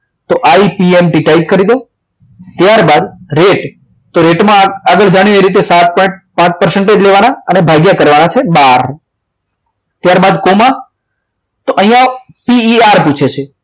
તો ipmt type કરી દો ત્યારબાદ રેટ તો રેટમાં આગળ જાન્યુઆરી રીતે સાત પોઈન્ટ પાંચ percentage લેવાના અને ભાગ્યા કરવાના છે બાર ત્યારબાદ કોમા તો અહીંયા PER પૂછે છે